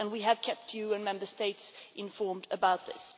We have kept you and Member States informed about this.